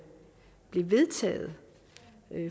blev vedtaget